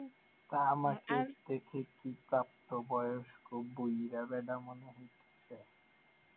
থেকে কি প্রাপ্তবয়স্ক